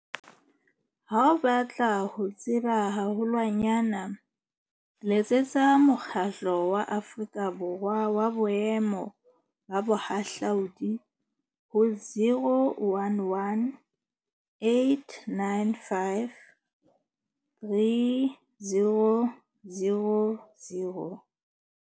Ha o batla ho tseba haholwanyane letsetsa Mokgatlo wa Aforika Borwa wa Boemo ba Bohahlaudi ho 011 895 3000.